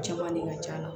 Cɛman ne ka ca